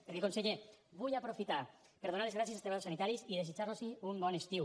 perquè conseller vull aprofitar per donar les gràcies als treballadors sanitaris i desitjar los un bon estiu